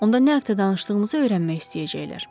Onda nə haqda danışdığımızı öyrənmək istəyəcəklər.